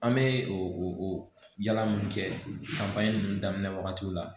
An bɛ o o yala mun kɛ ninnu daminɛ wagati la